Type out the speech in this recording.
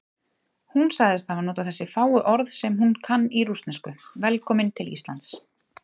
Hún sagðist hafa notað þessi fáu orð sem hún kann í rússnesku: Velkominn til Íslands.